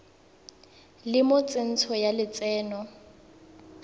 le mo tsentsho ya lotseno